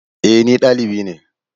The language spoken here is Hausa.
E, ni valibi ne.